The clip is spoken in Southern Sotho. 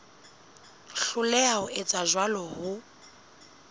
hloleha ho etsa jwalo ho